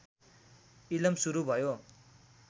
इलम सुरु भयो